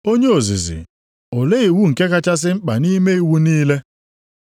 “Onye ozizi, olee iwu nke kachasị mkpa nʼime iwu niile?”